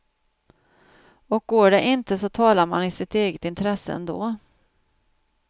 Och går det inte så talar man i sitt eget intresse ändå.